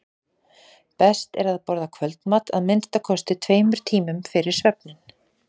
best er að borða kvöldmat að minnsta kosti tveimur tímum fyrir svefninn